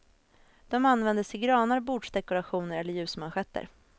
De användes till granar, bordsdekorationer eller ljusmanschetter.